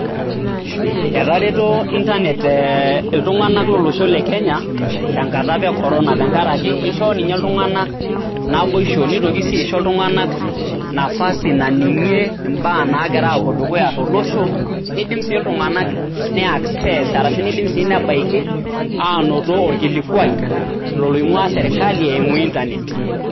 Etareto internet iltung'anak tenkata apa e corono tenkaraki , ishoo ninye iltung'anak naboisho , nitoki sii aisho iltung'anak nafasi naning'ie imbaa nagira apuo dukuya tolosho. Nidim sii iltung'anak ni access arashu nebaiki anoto orkilikwai ilo loing'waa sirkali eimu internet.